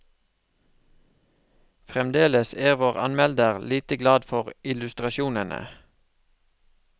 Fremdeles er vår anmelder lite glad for illustrasjonene.